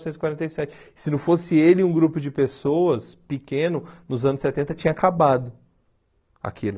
Novecentos e quarenta e sete. Se não fosse ele e um grupo de pessoas pequeno, nos anos setenta, tinha acabado aquilo.